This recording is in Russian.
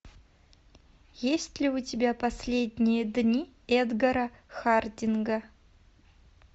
есть ли у тебя последние дни эдгара хардинга